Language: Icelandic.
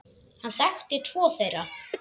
Hann þekkti tvo þeirra.